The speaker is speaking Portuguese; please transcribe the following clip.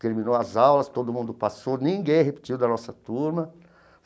Terminou as aulas, todo mundo passou, ninguém repetiu da nossa turma.